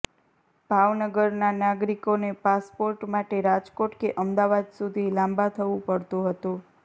ભાવનગરના નાગરિકોને પાસપોર્ટ માટે રાજકોટ કે અમદાવાદ સુધી લાંબા થવુ પડતુ હતુ